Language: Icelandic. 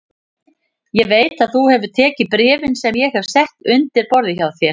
Ég veit að þú hefur tekið bréfin sem ég hef sett undir borðið hjá þér